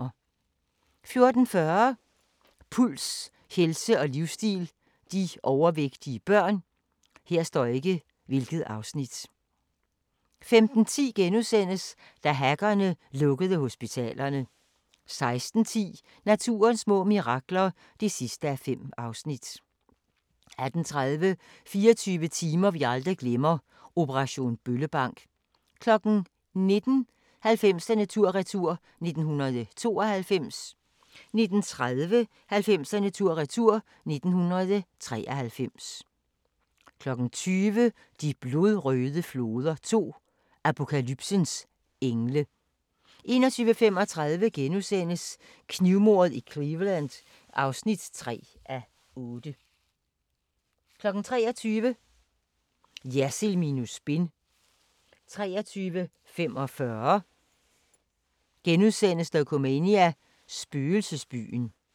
14:40: Puls – helse og livsstil: De overvægtige børn 15:10: Da hackerne lukkede hospitalerne * 16:10: Naturens små mirakler (5:5) 18:30: 24 timer vi aldrig glemmer - operation Bøllebank 19:00: 90'erne tur-retur: 1992 19:30: 90'erne tur retur: 1993 20:00: De blodrøde floder 2 – Apokalypsens engle 21:35: Knivmordet i Cleveland (3:8)* 23:00: Jersild minus spin 23:45: Dokumania: Spøgelsesbyen *